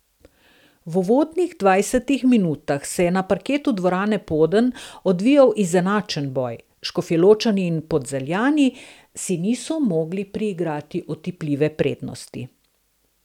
V uvodnih dvajsetih minutah se je na parketu dvorane Poden odvijal izenačen boj, Škofjeločani in Polzeljani si niso mogli priigrati otipljive prednosti.